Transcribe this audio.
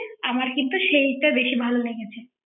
আমার কিন্তু সেইটা বেশি ভালো লেগেছে